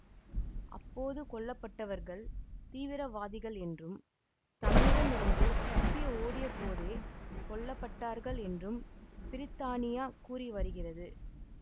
அப்போது கொல்ல பட்டவர்கள் தீவிரவாதிகள் என்றும் தம்மிடம் இருந்து தப்பி ஓடியபோதே கொல்ல பட்டார்கள் என்றும் பிரித்தானியா கூறி வருகிறது